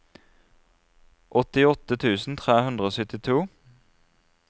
åttiåtte tusen tre hundre og syttito